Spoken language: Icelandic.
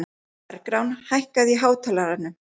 Bergrán, hækkaðu í hátalaranum.